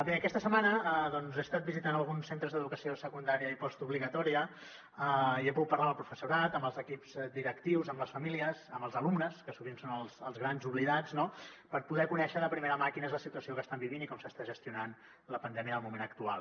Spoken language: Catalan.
bé aquesta setmana he estat visitant alguns centres d’educació secundària i postobligatòria i he pogut parlar amb el professorat amb els equips directius amb les famílies amb els alumnes que sovint són els grans oblidats no per poder conèixer de primera mà quina és la situació que estan vivint i com s’està gestionant la pandèmia en el moment actual